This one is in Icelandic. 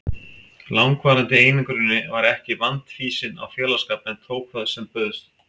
langvarandi einangruninni var ég ekki vandfýsin á félagsskap en tók það sem bauðst.